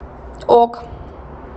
ок